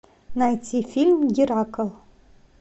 найти фильм геракл